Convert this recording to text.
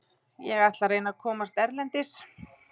Ég ætla að reyna að komast erlendis.